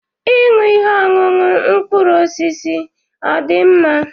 Ịṅụ ihe ọṅụṅụ mkpụrụ osisi ọ̀ dị mma?